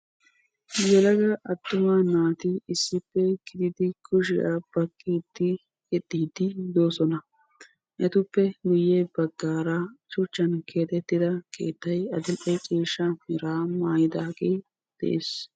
Yelaga attuma naati issippe kiyidi kushshiyaa baqqiidi yexxiidi doosona. etuppe guye baggaara shuchchan keexettida keettay adil"e ciishsha meraa maayidagee de'ees.